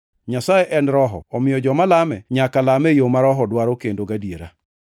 Nyasaye en Roho, omiyo joma lame nyaka lame e yo ma Roho dwaro kendo gadiera.”